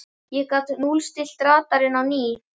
ég gat núllstillt radarinn á ný.